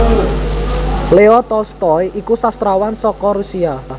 Leo Tolstoy iku sastrawan saka Russia